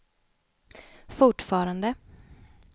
fortfarande